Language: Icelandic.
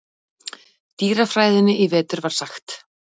dýrafræðinni í vetur var sagt.